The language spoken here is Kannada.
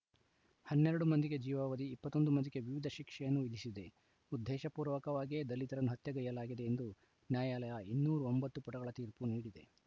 ಹನ್ನೆರಡು ಮಂದಿಗೆ ಜೀವಾವಧಿ ಇಪ್ಪತ್ತ್ ಒಂದು ಮಂದಿಗೆ ವಿವಿಧ ಶಿಕ್ಷೆಯನ್ನು ವಿಧಿಸಿದೆ ಉದ್ದೇಶಪೂರ್ವಕವಾಗಿಯೇ ದಲಿತರನ್ನು ಹತ್ಯೆಗೈಯಲಾಗಿದೆ ಎಂದು ನ್ಯಾಯಾಲಯ ಇನ್ನೂರ ಒಂಬತ್ತು ಪುಟಗಳ ತೀರ್ಪು ನೀಡಿದೆ